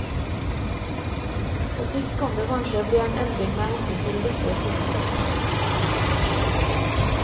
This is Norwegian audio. På sikt kan det kanskje bli en endring med hensyn til dette spørsmålet.